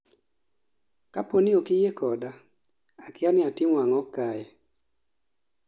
kaponi okiyie koda, akia ni atimo ang'o kae